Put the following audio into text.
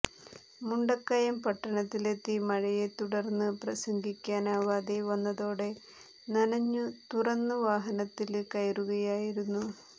മുണ്ടക്കയം പട്ടണത്തിലെത്തി മഴയെ തുടര്ന്നുപ്രസംഗിക്കാനാവാതെ വന്നതോടെ നനഞ്ഞ് തുറന്നു വാഹനത്തില് കയറുകയായിരുന്നു